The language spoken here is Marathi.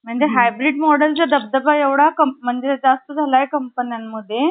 अनाथबालिकाश्रमाच्या कमला हाती~ गती मिळावी. कर्वे यांची पायपीट अं पायपीट सुरूच होती.